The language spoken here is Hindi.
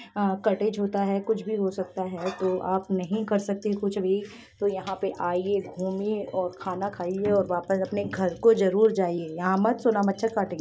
कटेज होता है कुछ भी हो सकता है तो आप नहीं कर सकते कुछ भी तो यहाँ पर आइये घूमिये खाइये और अपने घर को जरूर जाइये यहाँ मत सोना मच्छर काटेंगे ----